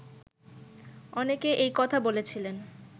অনেকে এই কথা বলেছিলেন